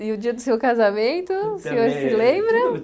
E o dia do seu casamento, o senhor se lembra?